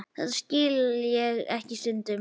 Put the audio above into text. Þetta skil ég ekki stundi Lilla.